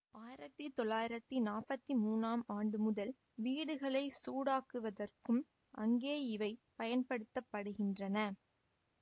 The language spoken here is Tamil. ஆயிரத்தி தொள்ளாயிரத்தி நாற்பத்தி மூனாம் ஆண்டு முதல் வீடுகளை சூடாக்குவதற்கும் அங்கே இவை பயன்படுத்த படுகின்றன